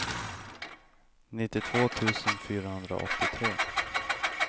nittiotvå tusen fyrahundraåttiotre